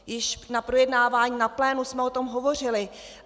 Již na projednávání na plénu jsme o tom hovořili.